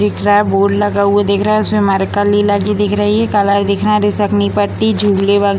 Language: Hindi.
दिख रहा है बोर्ड लगा हुआ दिख रहे है उसमें मार्कर कली लगी दिख रही है कलर दिख रहे हैं पट्टी झूलें व --